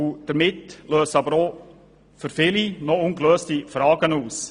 Dies löst jedoch noch viele ungelöste Fragen aus.